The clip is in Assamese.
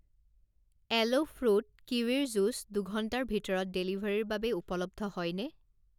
এলো ফ্ৰুট কিৱিৰ জুচ দুঘণ্টাৰ ভিতৰত ডেলিভাৰীৰ বাবে উপলব্ধ হয়নে?